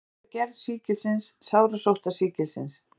Hver er gerð sýkilsins sárasóttar sýkilsins?